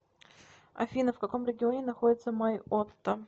афина в каком регионе находится майотта